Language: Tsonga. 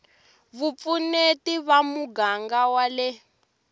vupfuneti va muganga wa le